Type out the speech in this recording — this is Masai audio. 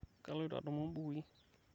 kaloito adumu ibukui